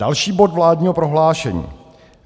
Další bod vládního prohlášení.